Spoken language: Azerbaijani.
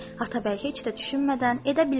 Atabəy heç də düşünmədən edə bilərəm.